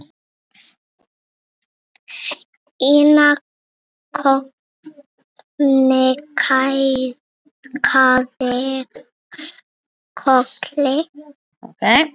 Ína kinkaði kolli.